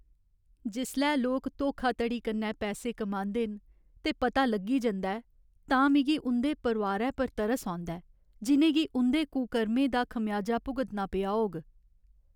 जिसलै लोक धोखाधड़ी कन्नै पैसे कमांदे न ते पता लग्गी जंदा ऐ, तां मिगी उं'दे परोआरै पर तरस औंदा ऐ जि'नें गी उं'दे कुकर्में दा खमेयाजा भुगतना पेआ होग।